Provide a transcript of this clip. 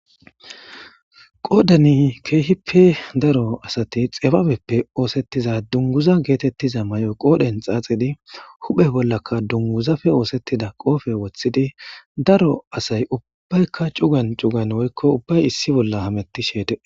Qodani kehippe daro asati xibabeppe osetiza dunguza getetiza may'o qodhen xaxidi huphe bolaka dunguzape osetida qophe wothidi daro asay ubayika cugan cugan woyko ubay issi bola hametishe de'es.